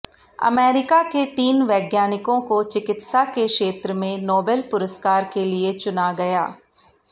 America के तीन वैज्ञानिकों को चिकित्सा के क्षेत्र में नोबेल पुरस्कार के लिए चुना गया